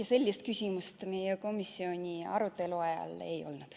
Ei, sellist küsimust meie komisjoni arutelu ajal ei tekkinud.